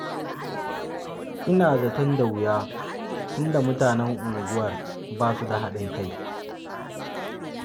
Ina zaton da wuya, tun da mutanen unguwar ba su da haɗin kai.